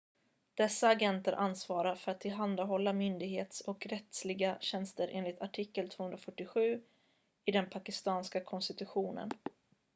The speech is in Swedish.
dessa agenter ansvarar för att tillhandahålla myndighets- och rättsliga tjänster enligt artikel 247 i den pakistanska konstitutionen